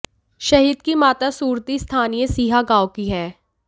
शहीद की माता सुरती स्थानीय सीहा गांव की हैं